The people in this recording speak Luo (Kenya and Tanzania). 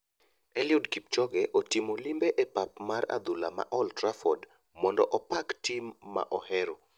Eliud kipchoge otimo limbe apap mar adhula mar olf trafford mondo opak tim ma ohero